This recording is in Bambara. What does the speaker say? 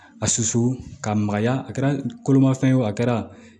A susu ka magaya a kɛra kolomafɛn ye o a kɛra